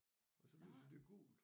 Og så lyser det gult